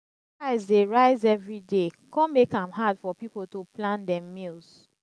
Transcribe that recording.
food price dey rise every day come make am hard for people to plan dem meals.